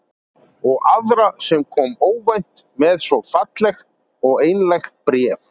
Og aðra sem kom óvænt með svo fallegt og einlægt bréf.